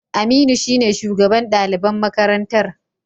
Aminu shine shugaban daliban makarantar